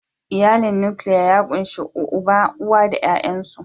Iyalin Nukiliya ya ƙunshi uba, uwa da ƴaƴansu.